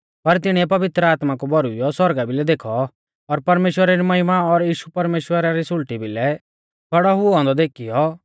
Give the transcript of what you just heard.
पर तिणीऐ पवित्र आत्मा कु भौरुइऔ सौरगा भिलै देखौ और परमेश्‍वरा री महिमा और यीशु परमेश्‍वरा री सुल़टी भिलै खौड़ौ हुऔ औन्दौ देखीयौ